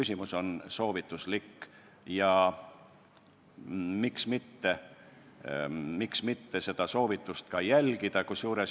See on soovitus ja miks mitte seda soovitust ka järgida.